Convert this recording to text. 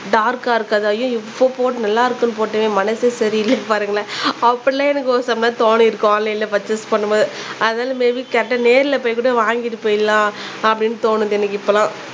டார்க்கா இருக்காது ஐயோ இப்ப போட் நல்லா இருக்குனு போட்டோமே மனசே சரி இல்லயே பாருங்களேன் அப்பிடிலாம் எனக்கு ஒரு சமயம் தோணிருக்கும் எனக்கு ஆன்லைன்ல பர்ச்சேஸ் பண்ணும்போது அதுனால மேபி கரெக்ட்டா நேருல போய் கூட வாங்கிட்டு போய்ரலாம் அப்படினு தோணுது எனக்கு இப்பதான்